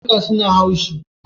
Karnuka suna haushi.